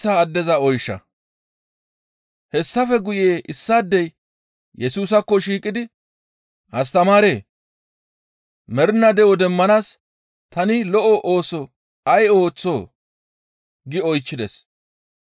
Hessafe guye issaadey Yesusaakko shiiqidi, «Astamaaree! Mernaa de7o demmanaas tani lo7o ooso ay ooththoo?» gi oychchides.